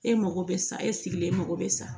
E mago bɛ sa e sigilen mago bɛ sa